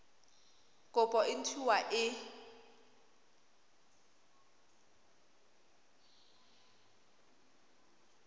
kopo e nt hwa e